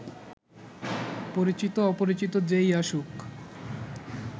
পরিচিত-অপরিচিত যে-ই আসুক